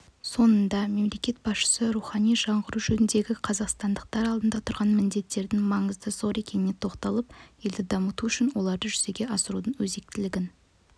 соңында мемлекет басшысы рухани жаңғыру жөніндегі қазақстандықтар алдында тұрған міндеттердің маңызы зор екеніне тоқталып елді дамыту үшін оларды жүзеге асырудың өзектілігін